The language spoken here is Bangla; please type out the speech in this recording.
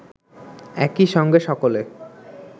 একই সঙ্গে সকলে